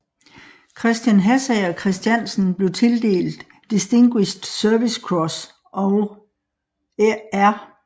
Christian Hassager Christiansen blev tildelt Distinguished Service Cross og R